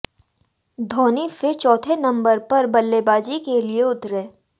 धोनी फिर चौथे नंबर पर बल्लेबाजी के लिये उतरे